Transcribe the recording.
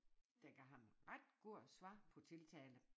Der gav ham ret god svar på tiltale